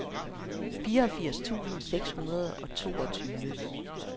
fireogfirs tusind seks hundrede og toogtyve